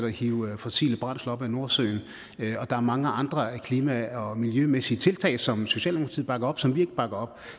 at hive fossile brændsler op ad nordsøen og der er mange andre klima og miljømæssige tiltag som socialdemokratiet bakker op men som vi ikke bakker op